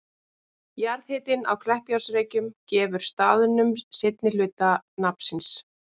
Jarðhitinn á Kleppjárnsreykjum gefur staðnum seinni hluta nafns síns.